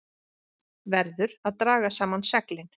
Verður að draga saman seglin